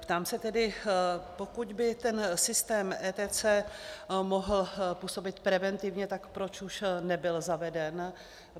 Ptám se tedy, pokud by ten systém ETCS mohl působit preventivně, tak proč už nebyl zaveden.